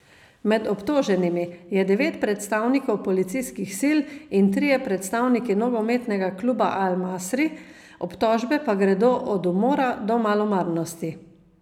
Med obtoženimi je devet predstavnikov policijskih sil in trije predstavniki nogometnega kluba Al Masri, obtožbe pa gredo od umora do malomarnosti.